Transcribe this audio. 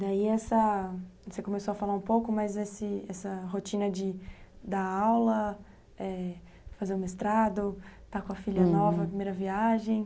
Daí essa, você começou a falar um pouco mais dessa rotina de dar aula, fazer o mestrado, uhum, estar com a filha nova, primeira viagem.